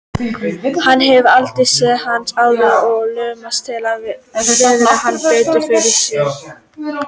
Hann hefur aldrei séð hana áður og laumast til að virða hana betur fyrir sér.